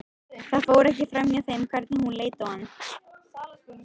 Það fór ekki framhjá þeim hvernig hún leit á hann.